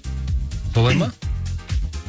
солай ма